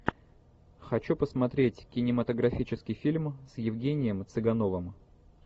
хочу посмотреть кинематографический фильм с евгением цыгановым